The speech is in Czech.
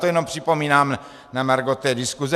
To jenom připomínám na margo té diskuse.